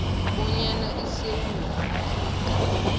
bonyana isewula afrika